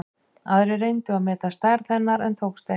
Aðrir reyndu að meta stærð hennar en tókst ekki.